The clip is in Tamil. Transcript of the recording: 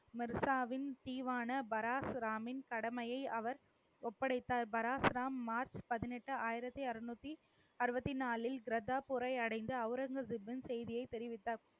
மர்சாவின் தீவான பராசுராமின் கடமையை அவர் ஒப்படைத்தார். பராசுராம், மார்ச் பதினெட்டு, ஆயிரத்தி அறுநூத்தி அறுவத்தி நாளில் கர்த்தாப்பூரை அடைந்து, அவுரங்கசீப்பின் செய்தியை தெரிவித்தார்